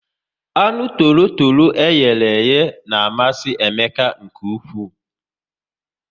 Anụ torotoro eyere iye na amasị Emeka nke ụkwụ